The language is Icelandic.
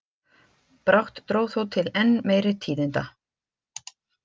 Brátt dró þó til enn meiri tíðinda.